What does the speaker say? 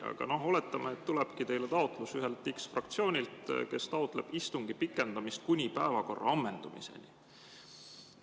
Aga oletame, et tulebki teile taotlus x-fraktsioonilt, kes taotleb istungi pikendamist kuni päevakorra ammendumiseni.